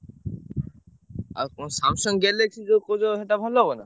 ଆଉ କଣ Samsung Galaxy ଯୋଉ କହୁଛ ସେଇଟା ଭଲ ହବ ନା?